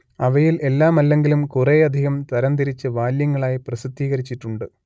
അവയിൽ എല്ലാമല്ലെങ്കിലും കുറേയധികം തരംതിരിച്ച് വാല്യങ്ങളായി പ്രസിദ്ധീകരിച്ചിട്ടുണ്ട്